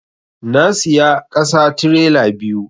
Na siya ƙasa tirela biyu